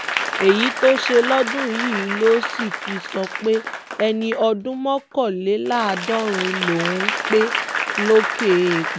èyí tó ṣe lọ́dún yìí ló sì fi sọ pé ẹni ọdún mọ́kànléláàádọ́rin lòún pé lókè eèpẹ̀